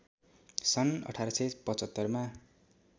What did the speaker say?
सन् १८७५ मा